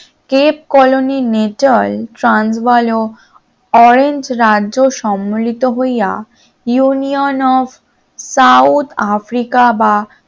crept colony র নিটল Transvaal অনেক রাজ্য সম্মিলিত হইয়া union of সাউথ আফ্রিকা বা